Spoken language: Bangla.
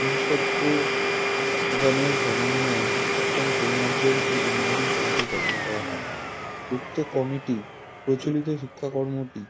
বিশেষজ্ঞগনের সমন্বয়ে শিক্ষাক্রম পরিমার্জন ও উন্নয়ন কমিটি গঠন করা হয় উক্ত কমিটি প্রচলিত শিক্ষাকর্মটি